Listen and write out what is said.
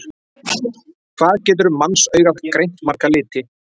Hvað getur mannsaugað greint marga liti?